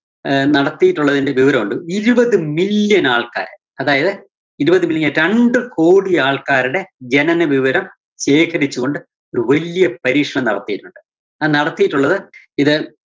ആഹ് നടത്തിയിട്ടൊള്ളതിന്റെ വിവരോണ്ട്. ഇരുപത് million ആള്‍ക്കാര് അതായത് ഇരുപത് million രണ്ട് കോടി ആള്‍ക്കാര്ടെ ജനന വിവരം ശേഖരിച്ചുകൊണ്ട് ഒരു വല്യ പരീക്ഷണം നടത്തിയിട്ടൊണ്ട്. അത് നടത്തിയിട്ടോള്ളത് ഇത്